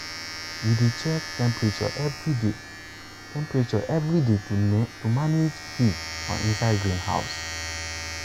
we dey check temperature every day temperature every day to manage heat for inside greenhouse.